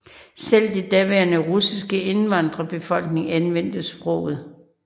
Selv den daværende russiske indvandrerbefolkning anvendte sproget